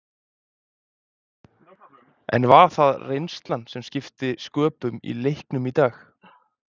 En var það reynslan sem skipti sköpum í leiknum í dag?